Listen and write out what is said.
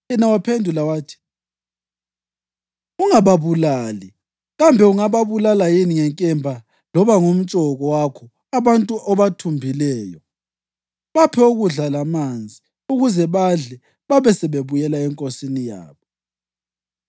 Yena waphendula wathi, “Ungababulali. Kambe ungababulala yini ngenkemba loba ngomtshoko wakho abantu obathumbileyo. Baphe ukudla lamanzi ukuze badle babe sebebuyela enkosini yabo.”